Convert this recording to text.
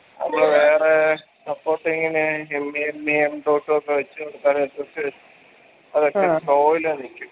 നമ്മള് വേറേ supporting ന് show യില് വന്നിക്കും